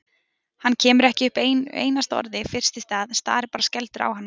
Hann kemur ekki upp einu einasta orði fyrst í stað, starir bara skelfdur á hana.